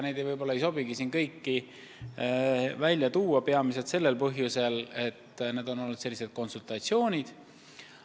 Neid võib-olla ei sobigi siin välja tuua, kuna need on olnud sellised konsultatsioonid.